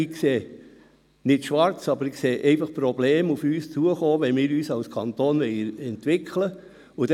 Ich sehe nicht schwarz, aber ich sehe einfach Probleme auf uns zukommen, wenn wir uns als Kanton entwickeln wollen.